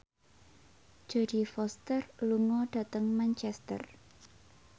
Jodie Foster lunga dhateng Manchester